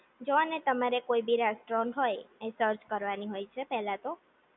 જુઓને તમારે કોઈ બી રેસ્ટોરન્ટ હોય એ સર્ચ કરવાની હોય છે પહેલા તો